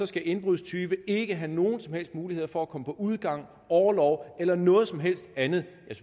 skal indbrudstyve ikke have nogen som helst muligheder for at komme på udgang orlov eller noget som helst andet